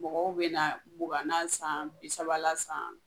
Mɔgɔw bi na mugan na san, bi saba la san